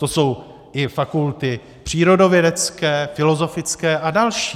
To jsou i fakulty přírodovědecké, filozofické a další.